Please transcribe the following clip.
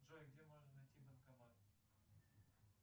джой где можно найти банкомат